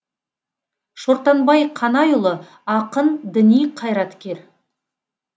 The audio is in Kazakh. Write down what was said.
шортанбай қанайұлы ақын діни қайраткер